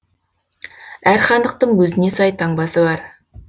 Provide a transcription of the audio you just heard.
әр хандықтың өзіне сай таңбасы бар